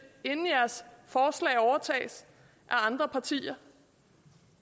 inden jeres forslag overtages af andre partier